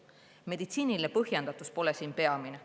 Meditsiiniline põhjendatus pole siin peamine.